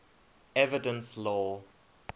evidence law